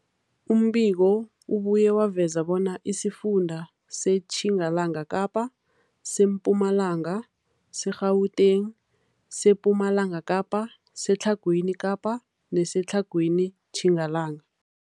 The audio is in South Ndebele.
Umbiko ubuye waveza bona isifunda seTjingalanga Kapa, seMpumalanga, seGauteng, sePumalanga Kapa, seTlhagwini Kapa neseTlhagwini Tjingalanga.